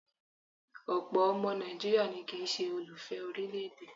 Ọ̀pọ̀ ọmọ Nàìjíríà ni kì ń ṣe olùfẹ orílẹ̀-èdè.